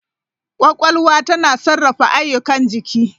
Kwakwalwa tana sarrafa ayyukan jiki.